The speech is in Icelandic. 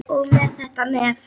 Og með þetta nef.